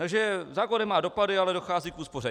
Takže zákon nemá dopady, ale dochází k úspoře.